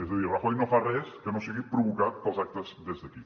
és a dir rajoy no fa res que no sigui provocat pels actes des d’aquí